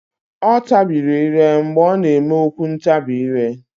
Ọ tabiri ire mgbe ọ na-eme okwu ntabi ire.